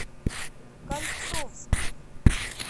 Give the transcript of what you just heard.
кольцовский